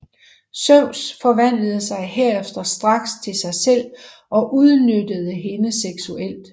Zeus forvandlede sig herefter straks til sig selv og udnyttede hende seksuelt